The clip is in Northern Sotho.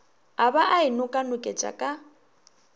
a ba a inokanoketša ka